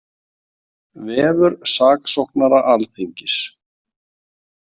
Vefur saksóknara Alþingis